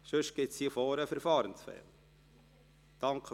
Sonst gibt es hier vorne einen Verfahrensfehler.